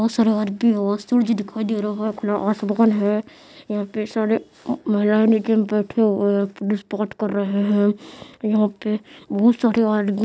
बहुत सारा आदमी बहुत सारा आदमी और सूरज भी दिखाई दे रहा है खुला आसमान है यहाँ पे सारे महिलाए नीचे बेठे हुए हुए है बात कर रहे है यहाँ पे बहुत सारे आदमी--